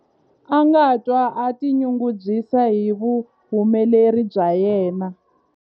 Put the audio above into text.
A nga twa a tinyungubyisa hi vuhumeleri bya yena.